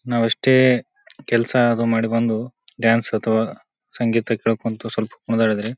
ನಾವೆಷ್ಟೇ ಕೆಲಸ ಆಗೋ ಮಾಡಿ ಬಂದು ಡಾನ್ಸ್ ಅಥವಾ ಸಂಗೀತ ಕೇಳಕೊಂತ ಸ್ವಲ್ಪ ಕುಣಿದಾಡಿದರೆ--